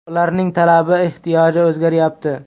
Ularning talabi, ehtiyoji o‘zgaryapti.